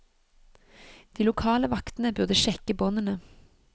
De lokale vaktene burde sjekke båndene.